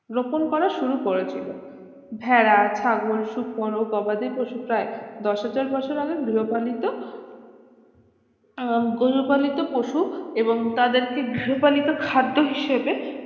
রোপন করা শুরু করেছিল ভেড়া ছাগল শুকর গবাদি পশু প্রায় দশ হাজার বছর আগে গৃহপালিত গৌর পালিত পশু এবং তাদেরকে গৃহপালিত খাদ্য হিসেবে